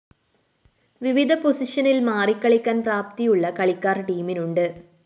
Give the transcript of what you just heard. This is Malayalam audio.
വിവിധ പൊസിഷനില്‍ മാറികളിക്കാന്‍ പ്രാപ്തിയുള്ള കളിക്കാര്‍ ടീമിനുണ്ട്